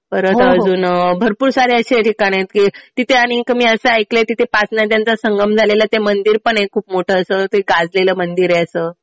परत अजून भरपूर सारे असं ठिकाण आहेत कि तिथे आणि एक मी असं ऐकलंय तिथे पाच नद्यांचा संगम झालेला. ते मंदिर पण आहे खूप मोठं असं ते गाजलेलं मंदिर आहे असं.